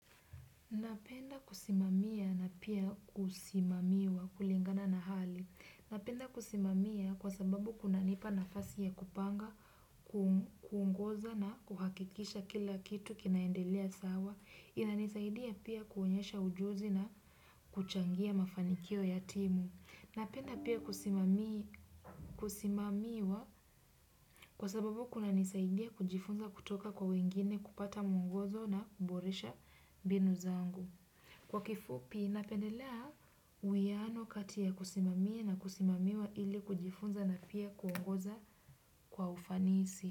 Napenda kusimamia na pia kusimamiwa kulingana na hali. Napenda kusimamia kwa sababu kuna nipa nafasi ya kupanga, kuongoza na kuhakikisha kila kitu kinaendelea sawa. Ina nisaidia pia kuonyesha ujuzi na kuchangia mafanikio ya timu. Napenda pia kusimamiwa kwa sababu kuna nisaidia kujifunza kutoka kwa wengine kupata mwongozo na kuboresha mbinu zangu. Kwa kifupi napendelea uwiano kati ya kusimamia na kusimamiwa ili kujifunza na pia kuongoza kwa ufanisi.